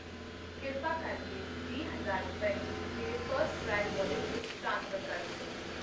ਕਿਰਪਾ ਕਰਕੇ ਵੀਹ ਹਜ਼ਾਰ ਰੁਪਏ, ਮੇਰੇ ਫਸਟ ਕਰਾਈ ਵੌਲੇਟ ਵਿੱਚ ਟ੍ਰਾਂਸਫਰ ਕਰ ਦਿਓ ।